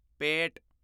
ਪੇਟ